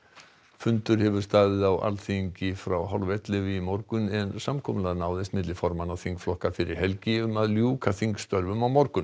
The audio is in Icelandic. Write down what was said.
fundur hefur staðið á Alþingi frá hálf ellefu í morgun en samkomulag náðist milli formanna þingflokka fyrir helgi um að ljúka þingstörfum á morgun